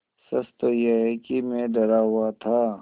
सच तो यह है कि मैं डरा हुआ था